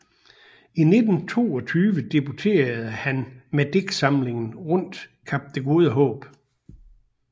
I 1922 debuterede han med digtsamlingen Rundt Kap det gode Haab